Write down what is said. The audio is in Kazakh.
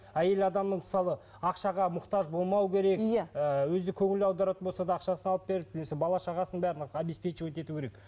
әйел адамның мысалы ақшаға мұқтаж болмау керек иә ол кезде көңіл аударатын болса да ақшасын алып беріп немесе бала шағасының бәрін обеспечивать ету керек